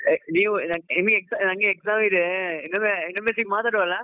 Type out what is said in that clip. ನೀವ್ ನಂಗೆ exam ಇದೆ ಇನ್ನೊಮ್ಮೆ ಇನ್ನೊಮ್ಮೆ ಮಾತಾಡುವಲ್ಲ.